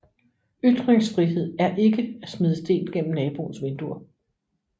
Ytringsfrihed er ikke at smide sten gennem naboens vinduer